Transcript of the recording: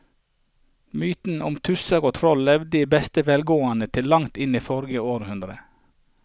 Mytene om tusser og troll levde i beste velgående til langt inn i forrige århundre.